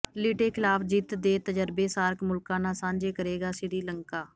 ਲਿਟੇ ਖਿਲਾਫ ਜਿੱਤ ਦੇ ਤਜਰਬੇ ਸਾਰਕ ਮੁਲਕਾਂ ਨਾਲ ਸਾਂਝੇ ਕਰੇਗਾ ਸ੍ਰੀਲੰਕਾ